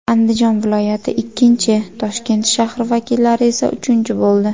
Andijon viloyati ikkinchi, Toshkent shahri vakillari esa uchinchi bo‘ldi.